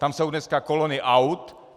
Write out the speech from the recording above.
Tam jsou dneska kolony aut.